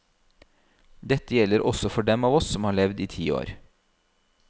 Dette gjelder også for dem av oss som har levd i ti år.